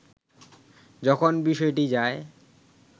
যখন বিষয়টি যায়